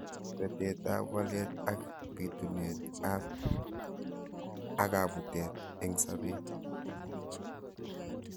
Betet ab walet ak bitunet ab akabutet eng sabet.